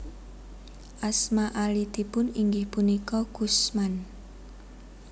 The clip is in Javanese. Asma alitipun inggih punika Kusman